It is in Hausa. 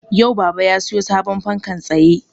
Yau baba ya sayo sabon fankan tsaye